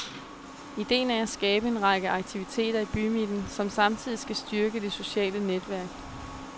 Idéen er at skabe en række aktiviteter i bymidten, som samtidig skal styrke det sociale netværk.